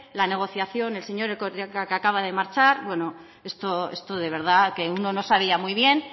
la negociación el señor que acaba de marchar bueno esto de verdad que uno no sabía muy bien